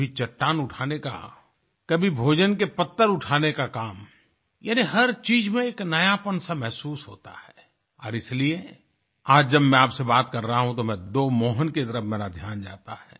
कभी चट्टान उठाने का कभी भोजन के पत्तल उठाने का काम यानी हर चीज में एक नयापन सा महसूस होता है और इसलिए आज जब मैं आपसे बात कर रहा हूँ तो मैं दो मोहन की तरफ मेरा ध्यान जाता है